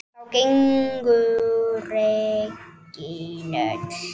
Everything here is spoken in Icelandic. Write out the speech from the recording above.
Þá gengu regin öll